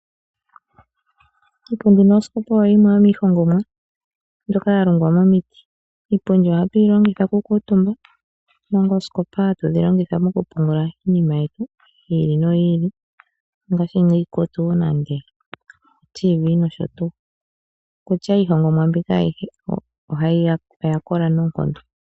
Iipundi noosikopa oyo yimwe yomiihongomwa mbyoka ya longwa momiti. Iipundi ohatu yi longitha okukuutumba omanga oosikopa hatu dhi longitha mokupungula iinima yetu yi ili noyi ili ngaaashi iikutu, otiivii nosho tuu. Okutya ashike iihongomwa mbika ayihe oya kola noonkondo.